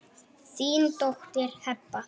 Þín dóttir Heba.